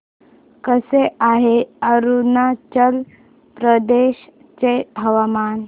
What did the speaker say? कसे आहे अरुणाचल प्रदेश चे हवामान